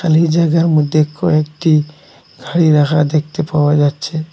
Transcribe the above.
খালি জায়গার মধ্যে কয়েকটি গাড়ি রাখা দেখতে পাওয়া যাচ্ছে।